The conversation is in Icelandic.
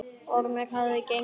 Ormur hafði gengið til kirkju.